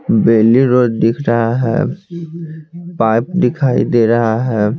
बेली road दिख रहा है पाइप दिखाई दे रहा है।